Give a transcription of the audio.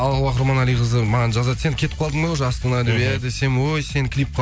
алуа құрманалиқызы маған жазады сен кетіп қалдың ба уже астанаға иә десем ой сені клипқа